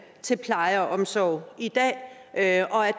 til pleje og omsorg i dag og at